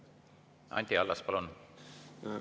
Anti Allas, palun!